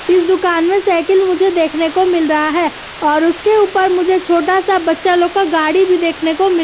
इस दुकान में साइकिल मुझे देखने को मिल रहा है और उसके ऊपर मुझे छोटा सा बच्चा लोग का गाड़ी भी देखने को मिल --